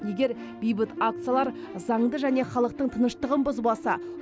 егер бейбіт акциялар заңды және халықтың тыныштығын бұзбаса